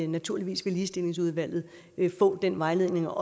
naturligvis vil ligestillingsudvalget få den vejledning og